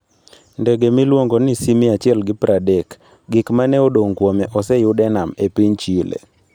Ndege miluongo ni C-130: Gik ma ne odong' kuome oseyud e nam e piny Chile